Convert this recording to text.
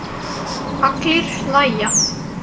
Allir hlæja.